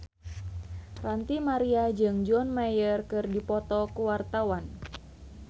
Ranty Maria jeung John Mayer keur dipoto ku wartawan